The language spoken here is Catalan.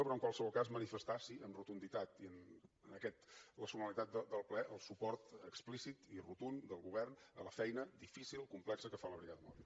però en qualsevol cas manifestar sí amb rotunditat i amb la solemnitat del ple el suport explícit i rotund del govern a la feina difícil complexa que fa la brigada mòbil